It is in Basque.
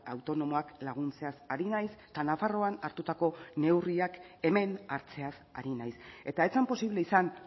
autonomoak laguntzeaz ari naiz eta nafarroan hartutako neurriak hemen hartzeaz ari naiz eta ez zen posible izan